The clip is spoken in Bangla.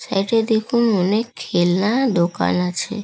সাইড -এ দেখুন অনেক খেলনা-আ দোকান আছে।